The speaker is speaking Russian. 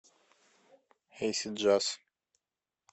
эйсид джаз